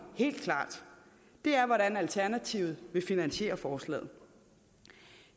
helt klart er hvordan alternativet vil finansiere forslaget